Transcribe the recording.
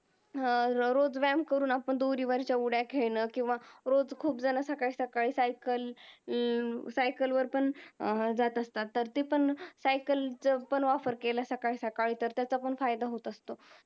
रोज व्यायाम करून दोरीवरच्या उद्या खेळणं किव्वा रोज खूप जाणा सकाळी सकाळी cycle अं वर पण अं जात असतात तर ते पण cycle च पण offer केला सकाळी सकाळी तर त्याचा पण फायदा पण होत असतो